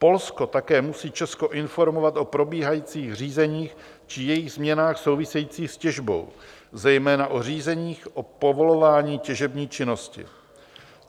Polsko také musí Česko informovat o probíhajících řízeních či jejich změnách souvisejících s těžbou, zejména o řízeních o povolování těžební činnosti.